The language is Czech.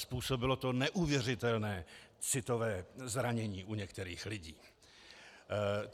Způsobilo to neuvěřitelné citové zranění u některých lidí.